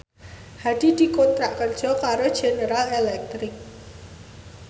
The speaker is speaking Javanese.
Hadi dikontrak kerja karo General Electric